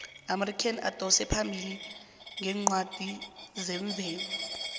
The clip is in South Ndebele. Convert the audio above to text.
iamerika idosa phambili ngeencwadi zemvelo